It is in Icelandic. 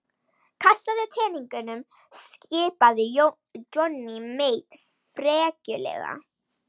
Kastaðu teningunum skipaði Johnny Mate frekjulega.